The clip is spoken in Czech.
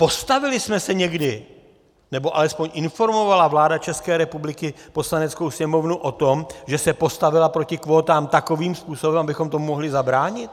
Postavili jsme se někdy, nebo alespoň informovala vláda České republiky Poslaneckou sněmovnu o tom, že se postavila proti kvótám takovým způsobem, abychom tomu mohli zabránit?